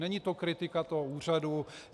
Není to kritika toho úřadu.